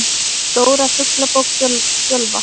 Stóra Fuglabók Fjölva.